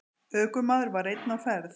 Ökumaður var einn á ferð.